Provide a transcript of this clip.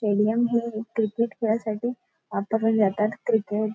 stadium हे cricket खेळायसाठी वापरले जातात क्रिकेट --